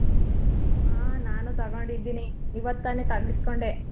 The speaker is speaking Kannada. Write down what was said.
ಹಾ ನಾನು ತೊಗೊಂಡಿದ್ದೀನಿ ಇವತ್ತ್ ತಾನೇ ತರ್ಸ್ ಕೊಂಡೆ.